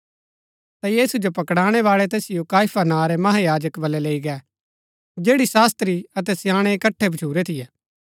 ता यीशु जो पकड़णै बाळै तैसिओ काइफा नां रै महायाजक बलै लैई गै जैड़ी शास्त्री अतै स्याणै इकट्ठै भच्छुरै थियै